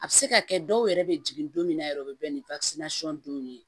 A bɛ se ka kɛ dɔw yɛrɛ bɛ jigin don min na yɛrɛ u bɛ bɛn ni donni ye